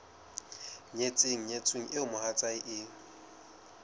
nyetseng nyetsweng eo mohatsae e